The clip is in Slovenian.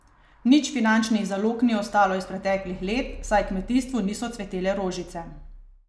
Nič finančnih zalog ni ostalo iz preteklih let, saj kmetijstvu niso cvetele rožice.